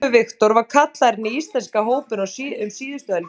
Guðlaugur Victor var kallaður inn í íslenska hópinn um síðustu helgi.